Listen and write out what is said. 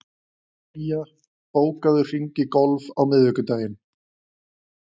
Guja, bókaðu hring í golf á miðvikudaginn.